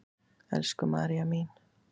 Elsku María mín.